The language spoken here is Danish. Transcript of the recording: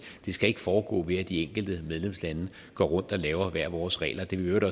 det skal ikke foregå ved at vi i de enkelte medlemslande går rundt og laver hver vores regler det vil i øvrigt